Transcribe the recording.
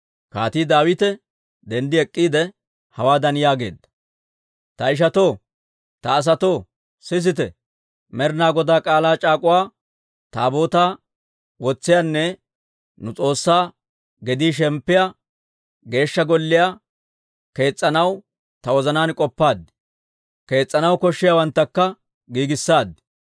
Kaatii Daawite denddi ek'k'iide, hawaadan yaageedda; «Ta ishatoo, ta asatoo, sisite! Med'inaa Godaa K'aalaa c'aak'uwa Taabootaa wotsiyaanne nu S'oossaa gedii shemppiyaa Geeshsha Golliyaa kees's'anaw ta wozanaan k'oppaad; kees's'anaw koshshiyaawanttakka giigissaad.